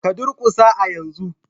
Ka durƙusa a yanzu!